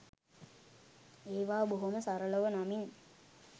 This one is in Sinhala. ඒවා බොහොම සරලව නමින්